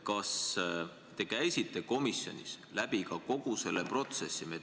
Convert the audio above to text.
Kas te käisite komisjonis ka kogu selle protsessi läbi?